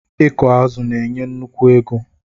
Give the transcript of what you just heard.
Ịkụ azụ̀ na-enye nnukwu ego